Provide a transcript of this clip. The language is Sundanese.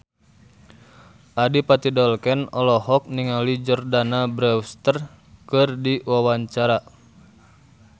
Adipati Dolken olohok ningali Jordana Brewster keur diwawancara